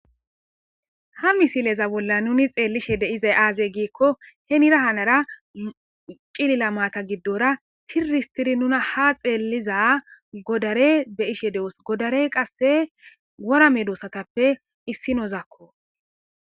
Ha misileza bolla nuni xeellishe deizay aazey giikko he nira hanara cilila maata giddora tiristiri nuna ha xeelliza godare be ishe dewos godarey qasse worame doossatappe issinozakko.